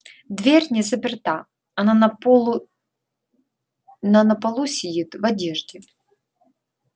дверь не заперта она на полу она на полу сидит в одежде